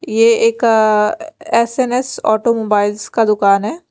ये एक अ एस_एन_एस ऑटोमोबाइल्स का दुकान है।